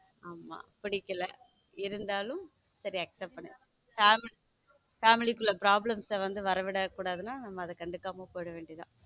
ஆமா பிடிக்கல இருந்தாலும் சரி accept பண்ணி family family குள்ள problem வர விட கூடாதுன்னா அதை நம்ம கண்டுக்காம போயிட வேண்டியது தான்.